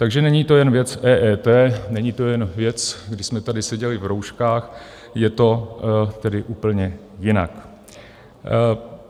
Takže není to jen věc EET, není to jen věc, kdy jsme tady seděli v rouškách, je to tedy úplně jinak.